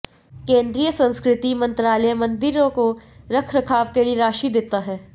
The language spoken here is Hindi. केंद्रीय संस्कृति मंत्रालय मंदिरों को रखरखाव के लिए राशि देता है